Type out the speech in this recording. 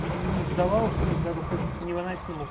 не сдавался даже в таких невыносимых